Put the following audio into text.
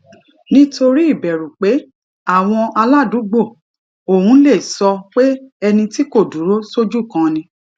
nítorí ìbèrù pé àwọn aládùúgbò òun lè sọ pé ẹni tí kò dúró sójú kan ni